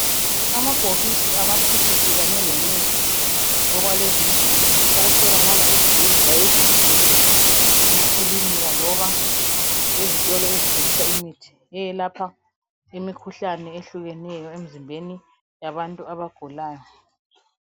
Amabhokisi amaphilisi kanye lemithi okwalezi insuku okutholakala ezibhedlela ezinkulu, emakilinika loba ezitolo ezithengisa imithi eyelapha imikhuhlane ehlukeneyo emzimbeni yabantu abagulayo.